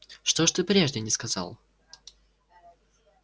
что ж ты прежде не сказал